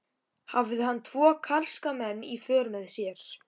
Hafði hann tvo karska menn í för með sér.